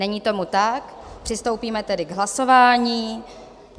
Není tomu tak, přistoupíme tedy k hlasování.